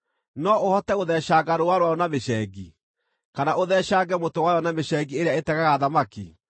No ũhote gũtheecanga rũũa rwayo na mĩcengi, kana ũtheecange mũtwe wayo na mĩcengi ĩrĩa ĩtegaga thamaki?